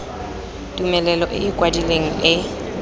tumelelo e e kwadilweng e